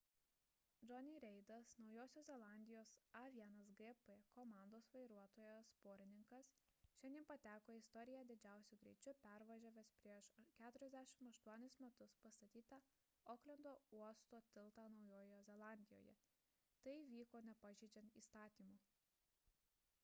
jonny's reidas naujosios zelandijos a1gp komandos vairuotojas porininkas šiandien pateko į istoriją didžiausiu greičiu pervažiavęs prieš 48 metus pastatytą oklendo uosto tiltą naujojoje zelandijoje tai vyko nepažeidžiant įstatymų